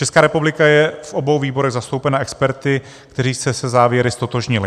Česká republika je v obou výborech zastoupena experty, kteří se se závěry ztotožnili.